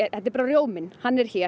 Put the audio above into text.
þetta er rjóminn hann er hér